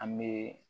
An bee